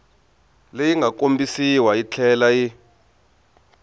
leyi nga kombisiwa yitlhela yi